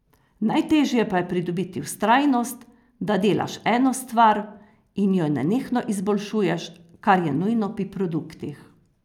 Najteže pa je pridobiti vztrajnost, da delaš eno stvar in jo nenehno izboljšuješ, kar je nujno pri produktih.